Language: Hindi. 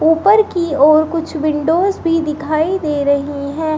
ऊपर की ओर कुछ विंडोज भी दिखाई दे रही है।